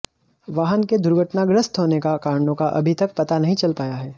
वाहन के दुर्घटनाग्रस्त होने का कारणों का अभी तक पता नही चल पाया है